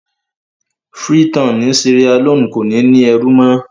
Freetown ni Sierra-Leone kò ní ní ẹrú mọ́.